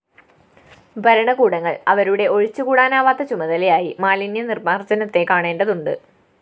ഭരണകൂടങ്ങള്‍ അവരുടെ ഒഴിച്ചുകൂടാനാവാത്ത ചുമതലയായി മാലിന്യനിര്‍മാര്‍ജനത്തെ കാണേണ്ടതുണ്ട്‌